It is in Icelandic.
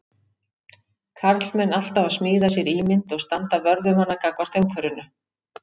Karlmenn alltaf að smíða sér ímynd og standa vörð um hana gagnvart umhverfinu.